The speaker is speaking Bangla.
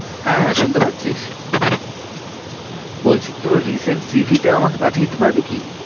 হ্যাঁ হ্যাঁ শুনতে পাচ্ছিস বলছি তোর recent cv টা আমাকে পাঠিয়ে দিতে পারবি কি?